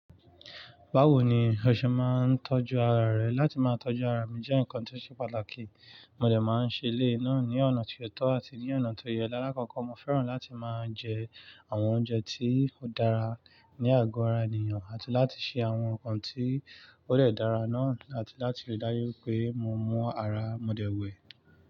Bawo ni o ṣe máa ń tọ́jú ara rẹ? Láti máa tọ́jú ara mi jẹ́ nǹkan tí ó ṣe pàtàkì. Mo dẹ̀ máa ń ṣe eléyi náà ní ọ̀nà tí ó tọ́ àti ní ọ̀nà tí ó yẹ. Lálá kọ̀ko, mo fẹ́ràn láti máa jẹ àwọn oúnjẹ tí ó dára ní àgo ara ènìyàn àti láti ṣe àwọn nǹkan tí ó dè dára náà àti láti ríi dárú wipé mo mọ́ ara mo dẹ̀ wẹ̀.